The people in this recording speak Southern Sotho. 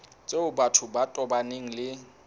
tseo batho ba tobaneng le